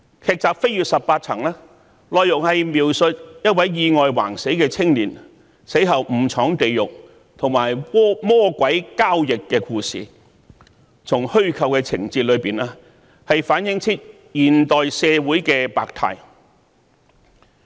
劇集"飛越十八層"的內容是描述一位意外橫死的青年死後誤闖地獄，與魔鬼交易，從虛構的情節中可反映現代社會的百態。